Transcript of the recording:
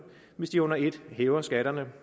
hvis de under et hæver skatterne